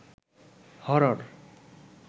horror